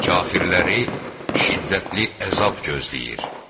Kafirləri şiddətli əzab gözləyir.